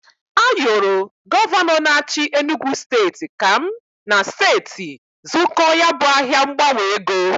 Ayoro Gọvanọ n'achi Enugu steti ka m na steti zụkọọ ya bụ ahịa ngbanwe ego.